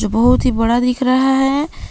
बहोत ही बड़ा दिख रहा है।